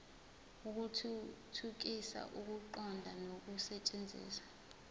ukuthuthukisa ukuqonda nokusetshenziswa